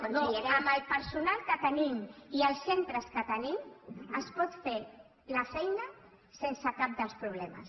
però amb el personal que tenim i els centres que tenim es pot fer la feina sense cap dels problemes